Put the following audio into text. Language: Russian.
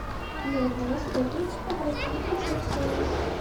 мне нужны расходники обратись в консьерж сервис